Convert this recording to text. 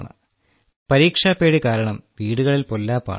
കാരണം പരീക്ഷാപ്പേടി കാരണം വീടുകളിൽ പൊല്ലാപ്പാണ്